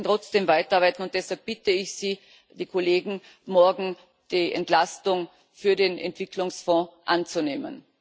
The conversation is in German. Wir werden trotzdem weiter arbeiten, und deshalb bitte ich Sie, die Kollegen, morgen die Entlastung für den Entwicklungsfonds anzunehmen.